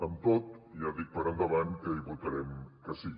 amb tot ja dic per endavant que hi votarem que sí